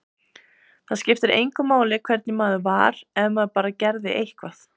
Það skipti engu máli hvernig maður var, ef maður bara gerði eitthvað.